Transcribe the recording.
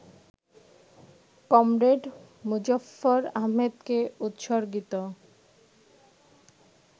comrade মুজফ্ফর আহমদকে উৎসর্গিত